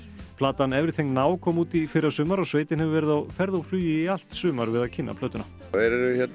platan everything kom út í fyrrasumar og sveitin hefur verið á ferð og flugi í allt sumar við að kynna plötuna þeir